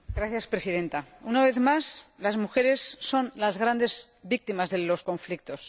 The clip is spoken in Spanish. Señora Presidenta, una vez más las mujeres son las grandes víctimas de los conflictos.